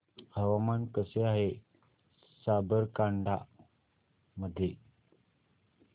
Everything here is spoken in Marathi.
हवामान कसे आहे साबरकांठा मध्ये